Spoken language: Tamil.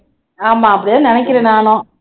ஆமா அப்படித்தான் நினைக்கிறேன் நானும்